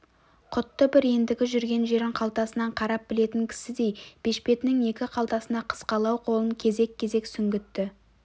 құтты бір ендігі жүрген жерін қалтасынан қарап білетін кісідей бешпетінің екі қалтасына қысқалау қолын кезек-кезек сүңгітті